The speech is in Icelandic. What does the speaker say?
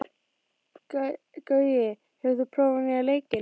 Gaui, hefur þú prófað nýja leikinn?